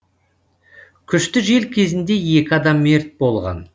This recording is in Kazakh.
күшті жел кезінде екі адам мерт болған